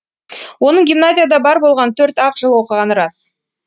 оның гимназияда бар болғаны төрт ақ жыл оқығаны рас